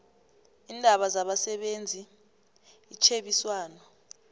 iindaba zabasebenzi itjhebiswano